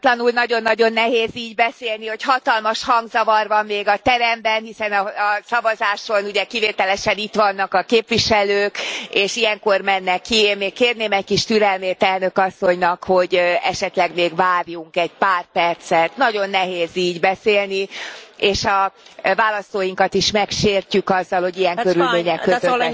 Változatlanul nagyon nagyon nehéz így beszélni, hogy hatalmas hangzavar van még a teremben, hiszen a szavazáson ugye kivételesen itt vannak a képviselők, és ilyenkor mennek ki, én még kérném egy kis türelmét Elnök Asszonynak, hogy esetleg még várjunk egy pár percet, nagyon nehéz így beszélni, és a választóinkat is megsértjük azzal, hogy ilyen körülmények között